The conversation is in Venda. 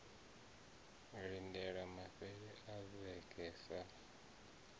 lindelwa mafhelo a vhege sa